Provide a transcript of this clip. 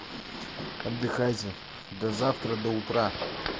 отдыхайте до завтра до утра